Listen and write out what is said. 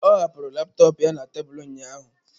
Ọ hapụrụ laptọọpụ ya na tebụl ụnyaahụ.